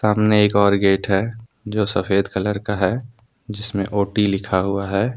सामने एक और गेट है जो सफेद कलर का है जिसमें ओ_टी लिखा हुआ है।